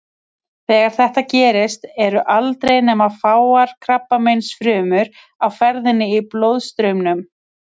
Þegar þetta gerist eru aldrei nema fáar krabbameinsfrumur á ferðinni í blóðstraumnum.